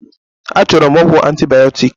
A chọrọ m ọgwụ antibioktik